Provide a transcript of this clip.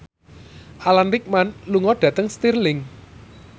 Alan Rickman lunga dhateng Stirling